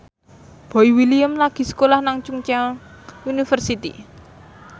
Boy William lagi sekolah nang Chungceong University